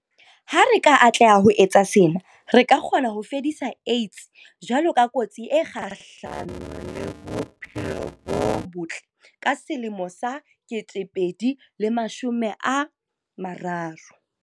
Ha re ka atleha ho etsa sena, re ka kgona ho fedisa AIDS jwalo ka kotsi e kgahlano le bophelo bo botle ka 2030.